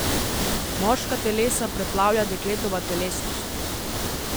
Moška telesa preplavlja dekletova telesnost.